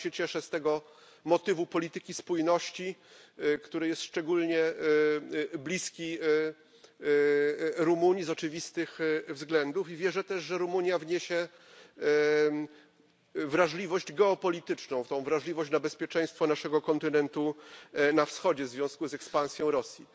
Bardzo się cieszę z tego motywu polityki spójności, który jest szczególnie bliski Rumunii z oczywistych względów, i wierzę też, że Rumunia wniesie wrażliwość geopolityczną, tę wrażliwość na bezpieczeństwo naszego kontynentu na wschodzie w związku z ekspansją Rosji.